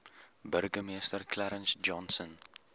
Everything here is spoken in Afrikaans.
burgemeester clarence johnson